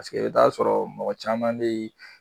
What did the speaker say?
Paseke i b'i taa sɔrɔ mɔgɔ caman be yen